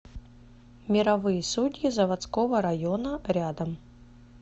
мировые судьи заводского района рядом